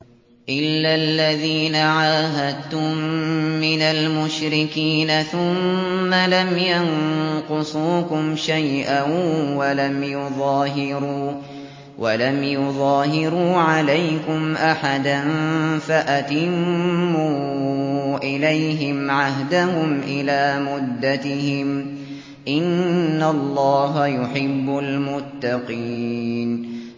إِلَّا الَّذِينَ عَاهَدتُّم مِّنَ الْمُشْرِكِينَ ثُمَّ لَمْ يَنقُصُوكُمْ شَيْئًا وَلَمْ يُظَاهِرُوا عَلَيْكُمْ أَحَدًا فَأَتِمُّوا إِلَيْهِمْ عَهْدَهُمْ إِلَىٰ مُدَّتِهِمْ ۚ إِنَّ اللَّهَ يُحِبُّ الْمُتَّقِينَ